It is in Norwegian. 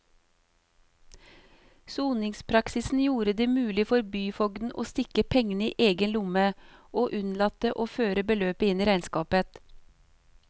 Soningspraksisen gjorde det mulig for byfogden å stikke pengene i egen lomme og unnlate å føre beløpet inn i regnskapet.